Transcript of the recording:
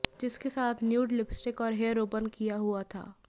जिसके साथ nude lipstick और हेयर ओपन किया हुआ था